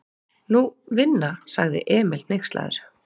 Nú, vinna, sagði Emil hneykslaður.